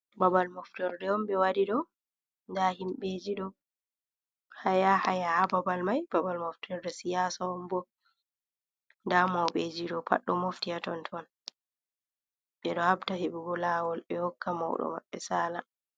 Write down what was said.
Ɓabal moftorde on ɓe waɗi ɗo, nda himɓeji ɗo haya ha babal mai babal moftorde siyasa on bo da mauɓeji ɗo pad ɗo mofti ha ton ton ɓe ɗo habda hebugo lawol ɓe hokka maudo maɓɓe sala.